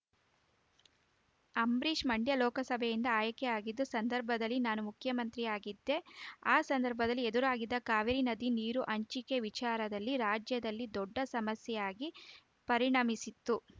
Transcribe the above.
ಅಂಬರೀಷ್‌ ಮಂಡ್ಯ ಲೋಕಸಭೆಯಿಂದ ಆಯ್ಕೆಯಾಗಿದ್ದ ಸಂದರ್ಭದಲ್ಲಿ ನಾನು ಮುಖ್ಯಮಂತ್ರಿಯಾಗಿದ್ದೆ ಆ ಸಂದರ್ಭದಲ್ಲಿ ಎದುರಾಗಿದ್ದ ಕಾವೇರಿ ನದಿ ನೀರು ಹಂಚಿಕೆ ವಿಚಾರದಲ್ಲಿ ರಾಜ್ಯದಲ್ಲಿ ದೊಡ್ಡ ಸಮಸ್ಯೆಯಾಗಿ ಪರಿಣಮಿಸಿತ್ತು